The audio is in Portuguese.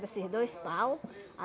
Desses dois pau